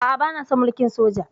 A'a, bana son mulkin soja.